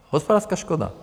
Hospodářská škoda.